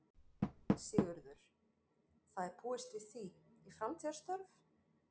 Sigurður: Það er búist við því, í framtíðarstörf?